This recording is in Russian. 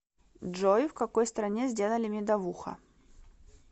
джой в какой стране сделали медовуха